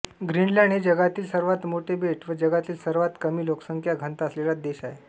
Greenland हे जागातील सर्वात मोठे बेट व जगातील सर्वात कमी लोकसंख्या घनता असलेला देश आहे